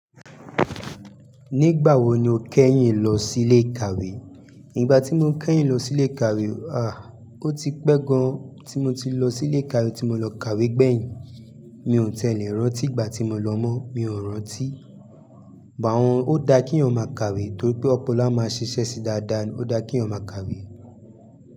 Nígbà wo ni o kẹ́yìn lọ sí ilé ìkàwé? Igbà tí mo kẹ́yìn lọ sí ilé ìkàwé, à, ó ti pẹ́ gan. Tí mo ti lọ sí ilé ìkàwé tí mo lọ kàwé gbẹ̀yìn, mi ò tẹ́lẹ̀ rántí ìgbà tí mo lọ mọ, mi ò rántí. Bàwọn ó da kí ọmọ máa kàwé torí pé ọpọlọ a máa ṣiṣẹ́ síi dáadáa ni, ó da kí eyan máa kàwé.